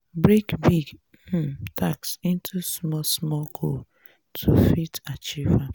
break big um task into small small goals to fit achieve am